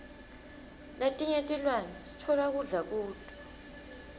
letinye tilwane sitfola kudla kuto